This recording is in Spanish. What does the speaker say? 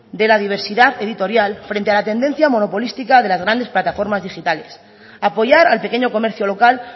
de la diversidad editorial frente a la tendencia monopolística de las grandes plataformas digitales apoyar al pequeño comercio local